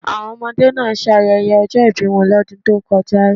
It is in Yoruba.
Àwọn ọmọdé náà ṣayẹyẹ ọjọ́ ìbí wọn lọ́dún tó kọjá.